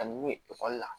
Ka n'u ye ekɔli la